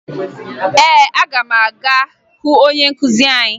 Ee, aga m aga hụ onye nkụzi anyị